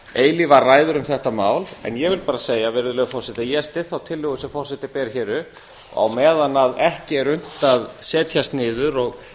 eilífar ræður um þetta mál ég vil bara segja virðulegur forseti að ég styð þá tillögu sem forseti ber hér upp á meðan ekki er unnt að setjast niður og